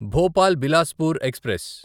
Bhopal Bilaspur express